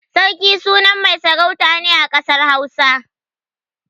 Sarki sunan mai sarauta ne a ƙasar Hausa.